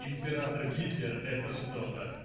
император гитлер это что-то